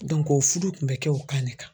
o fudu kun bɛ kɛ o kan de kan.